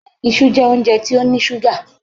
Ìṣu jẹ́ óúnjẹ tó ní ṣúgà.